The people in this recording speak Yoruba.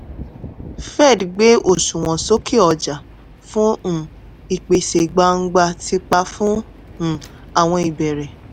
fed gbé òṣùwọ̀n sókè ọjà fún um ìpèsè gbangba ti pa fún um àwọn ìbẹ̀rẹ̀.